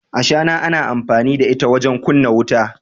ashana ana amfani da ita wajen kumna wuta